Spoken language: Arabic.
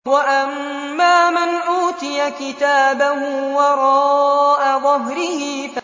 وَأَمَّا مَنْ أُوتِيَ كِتَابَهُ وَرَاءَ ظَهْرِهِ